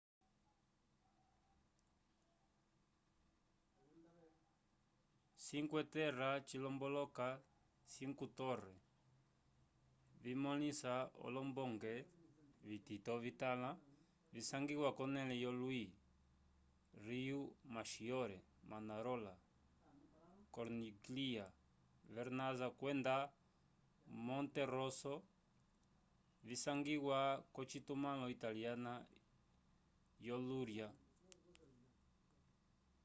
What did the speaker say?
cinque terra cilomboloka cinco torre vimõlisa olombonge vitito vitãlo visangiwa k'onẽle yolwi riomaggiore manarola corniglia vernazza kwenda monterosso visangiwa k'ocitumãlo italiana yo ligúria